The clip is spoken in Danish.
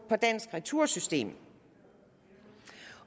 på dansk retursystem